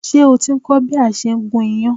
Ṣé o ti ń kọ́ bí a ṣe ń gún iyán?